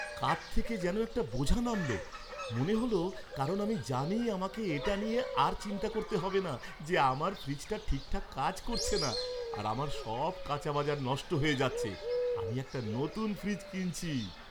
কাঁধ থেকে যেন একটা বোঝা নামল মনে হল কারণ আমি জানি আমাকে এটা নিয়ে আর চিন্তা করতে হবে না যে আমার ফ্রিজটা ঠিকঠাক কাজ করছে না আর আমার সব কাঁচা বাজার নষ্ট হয়ে যাচ্ছে। আমি একটা নতুন ফ্রিজ কিনছি।